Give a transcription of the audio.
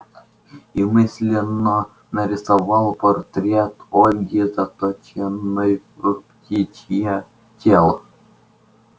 и мысленно нарисовал портрет ольги заточенной в птичье тело